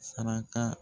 Saraka